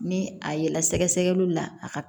Ni a ye la sɛgɛsɛgɛliw la a ka